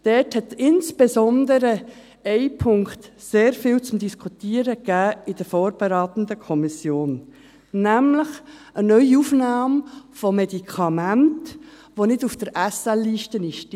Dort gab in der vorbe- ratenden Kommission insbesondere ein Punkt viel zu diskutieren, nämlich eine Neuaufnahme von Medikamenten, welche nicht auf der Spezialitätenliste (SL) sind.